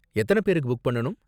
எத்தன பேர்க்கு புக் பண்ணனும்?